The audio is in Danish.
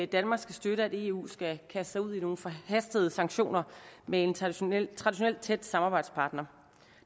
danmark skal støtte at eu skal kaste sig ud i nogle forhastede sanktioner med en traditionelt traditionelt tæt samarbejdspartner